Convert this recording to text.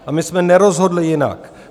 A my jsme nerozhodli jinak.